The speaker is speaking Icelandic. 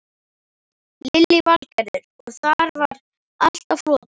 Lillý Valgerður: Og þar var allt á floti?